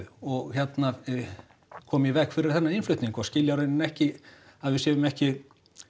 og hérna koma í veg fyrir þennan innflutning og skilja í raun ekki að við séum ekki